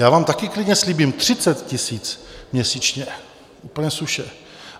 Já vám taky klidně slíbím 30 000 měsíčně, úplně suše.